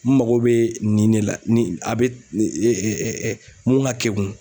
N mago bɛ nin ne la ni a bɛ mun ka kɛkun.